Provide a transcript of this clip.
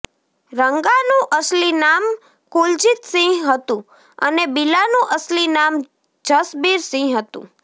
રંગાનું અસલી નામ કુલજીત સિંહ હતું અને બિલાનું અસલી નામ જસબીર સિંહ હતું